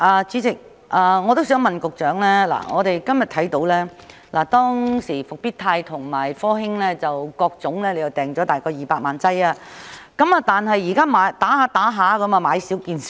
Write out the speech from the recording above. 主席，我也想問局長，當時政府訂購復必泰和科興的疫苗是大約各200萬劑，但現已接種一段時間，疫苗已經"買少見少"。